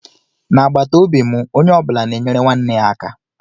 Na agbataobi mụ ónyé ọbula na enyere nwanne ya aka.